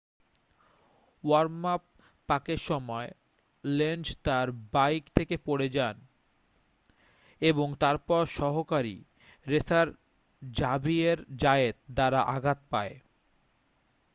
worm up পাকের সময় Lenz তাঁর বাইক থেকে পড়ে যায় এবং তারপর সহকারী রেসার জাভিয়ের জায়েত দ্বারা আঘাত পায়